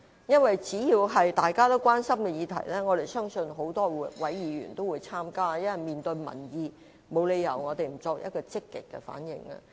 因為只要是大家關心的議題，相信各位議員均會積極參與，我們要面對民意，沒有理由不作出積極反應。